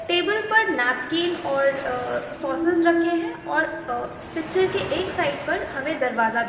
table पर napkin और अ सोसेस रखे है और अ पिच्चर के एक साइड पर हमें दरवाजा दिख --